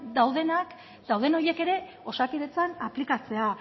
daudenak dauden horiek ere osakidetzan aplikatzea